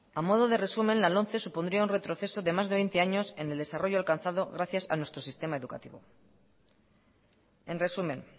a modo de resumen la lomce supondría un retroceso de más de veinte años en el desarrollo alcanzado gracias a nuestro sistema educativo en resumen